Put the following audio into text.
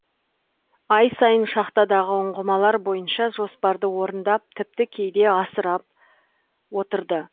ай сайын шахтадағы ұңғымалар бойынша жоспарды орындап тіпті кейде асырап отырды